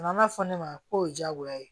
A nana fɔ ne ma k'o ye diyagoya ye